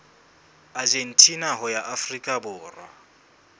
argentina ho ya afrika borwa